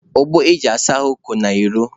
Ogbo e ji asa ahụ ko n'ilo.